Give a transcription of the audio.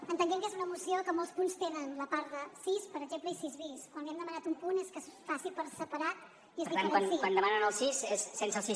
entenent que és una moció que molts punts tenen la part de sis per exemple i sis bis quan li hem demanat un punt és que es faci per separat i es diferenciï